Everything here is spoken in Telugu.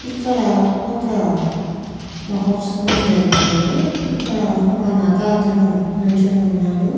ఇక్కడ ఒక మహోత్సవం జరగనుంది. ఇక్కడ ఒక మొగ అతను నించొని ఉన్నాడు.